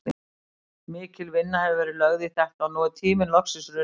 Mikil vinna hefur verið lögð í þetta og nú er tíminn loksins runninn upp.